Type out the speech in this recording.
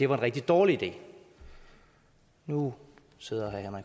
var en rigtig dårlig idé nu sidder herre